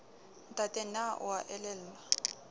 ntate na o a elellwa